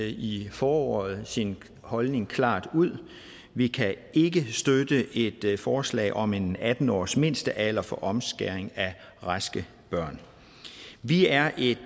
i foråret sin holdning klart ud vi kan ikke støtte et forslag om en atten årsmindstealder for omskæring af raske børn vi er et